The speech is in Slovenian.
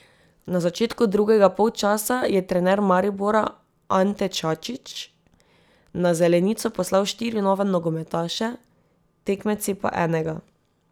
Na začetku drugega polčasa je trener Maribora Ante Čačić na zelenico poslal štiri nove nogometaše, tekmeci pa enega.